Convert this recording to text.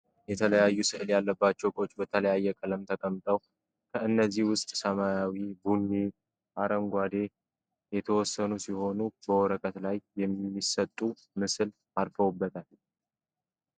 የተለያዩ ስእል ያለባቸው እቃዎች በተለያየ ቀለም ተቀምጠዋል ከነዚህም ዉስጥ ሰመያዊ፣ ቡኒ እና አረንጓዴ የተወሰኑት ሲሆኑ በወረቀት ላይም የሚሰጡት ምስል አርፎበታል።